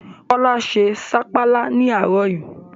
Kọ́lá se sapala ní àárọ̀ yii